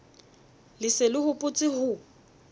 le se le hopotse ho